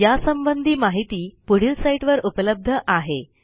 यासंबंधी माहिती पुढील साईटवर उपलब्ध आहे